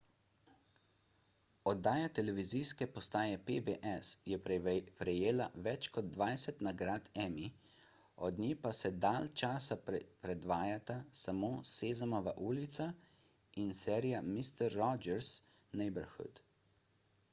oddaja televizijske postaje pbs je prejela več kot dvajset nagrad emmy od nje pa se dalj časa predvajata samo sezamova ulica in serija mister rogers' neighborhood